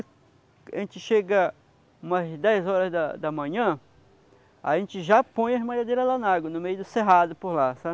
a gente chegar umas dez horas da da manhã, a gente já põe as malhadeiras lá na água, no meio do cerrado por lá, sabe?